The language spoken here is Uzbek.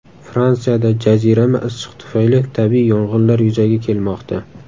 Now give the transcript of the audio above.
Fransiyada jazirama issiq tufayli tabiiy yong‘inlar yuzaga kelmoqda.